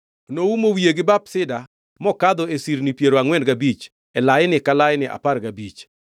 Noumo wiye gi bap sida mokadho e sirni piero angʼwen gabich, e laini ka laini apar gabich.